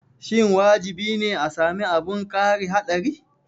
Shin wajibi ne a sami abin kari haɗari?